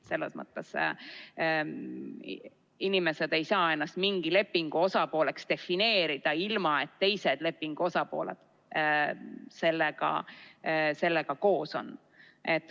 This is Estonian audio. Selles mõttes inimesed ei saa ennast mingi lepingu osapooleks defineerida, ilma et teised lepingu osapooled sellega nõus on.